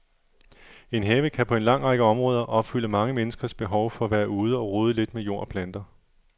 En have kan på en lang række områder opfylde mange menneskers behov for at være ude og rode lidt med jord og planter.